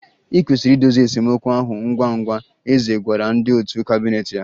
I kwesịrị idozi esemokwu ahụ ngwa ngwa, eze gwara ndị òtù kabinet ya